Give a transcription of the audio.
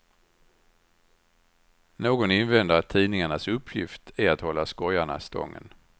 Någon invänder att tidningarnas uppgift är att hålla skojarna stången.